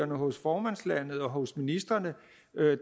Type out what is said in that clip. hos formandslandet og hos ministrene